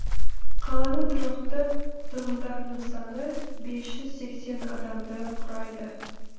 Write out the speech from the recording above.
қаланың тұрақты тұрғындарының саны бес жүз сексен адамды құрайды